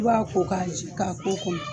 I b'a ko k'a k'o kɔnɔ